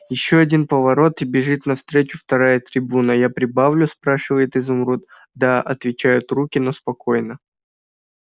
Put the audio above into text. ещё один поворот и бежит навстречу вторая трибуна я прибавлю спрашивает изумруд да отвечают руки но спокойно